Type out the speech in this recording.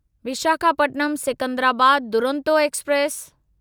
Visakhapatnam Secunderabad Duronto express